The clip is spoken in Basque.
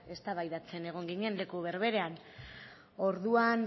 eztabaidatzen egon ginen leku berberean orduan